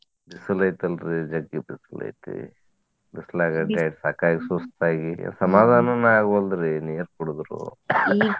ಬಿಸಲ ಐತಲ್ರಿ ಜಗ್ಗಿ ಬಿಸಲೈತಿ, ಬಿಸಲಾಗ ಸಾಕಾಗಿ ಸುಸ್ತಾಗಿ ಆಗವಾಲ್ದಿರಿ ನೀರ ಕುಡುದ್ರು .